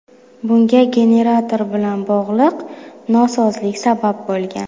Bunga generator bilan bog‘liq nosozlik sabab bo‘lgan.